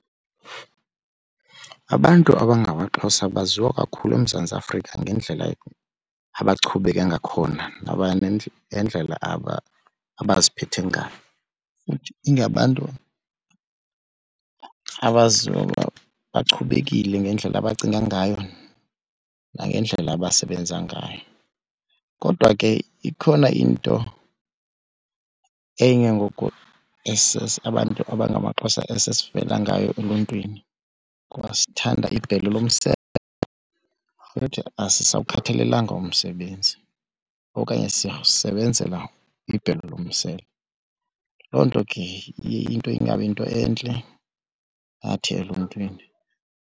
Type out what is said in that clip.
Abantu abangamaXhosa baziwa kakhulu eMzantsi Afrika ngendlela abachubeke ngakhona nendlela abaziphethe ngayo. Futhi ingabantu phaa abaziwa uba bachubekile ngendlela abacinga ngayo nangendlela abasebenza ngayo. Kodwa ke ikhona into enye ngoku abantu abangamaXhosa esivela ngayo eluntwini ukuba sithanda gqi ibhelu lomsele futhi asisawukhathalelanga umsebenzi okanye sisebenzela ibhelu lomsele. Loo nto ke iye into ingabiyinto entle ngathi eluntwini.pius